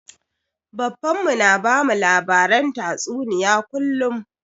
Baffan mu na bamu labaren tatsuniya kullum